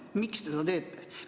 Miks te seda teete?